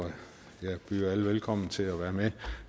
jeg byder alle velkommen til at være med